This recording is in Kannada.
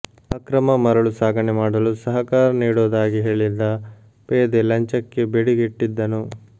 ಅಕ್ರಮ ಮರಳು ಸಾಗಣೆ ಮಾಡಲು ಸಹಕಾರ ನೀಡೋದಾಗಿ ಹೇಳಿದ್ದ ಪೇದೆ ಲಂಚಕ್ಕೆ ಬೇಡಿಕೆ ಇಟ್ಟಿದ್ದನು